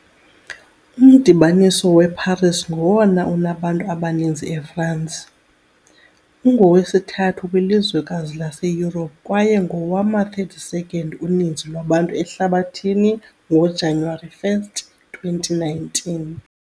Umdibaniso weParis ngowona unabantu abaninzi eFrance, ungowesithathu kwilizwekazi laseYurophu kwaye ngowama-32nd uninzi lwabantu ehlabathini ngoJanuwari 1, 2019.